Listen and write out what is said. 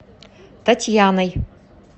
татьяной